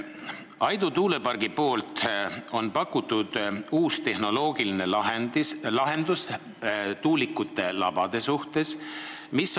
Aidu tuulepark on pakkunud uue tehnoloogilise lahenduse tuulikute labade koha pealt.